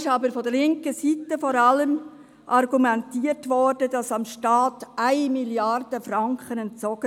Vor allem von linker Seite aber wurde argumentiert, dem Staat würden auf diese Weise 1 Mio. Franken entzogen.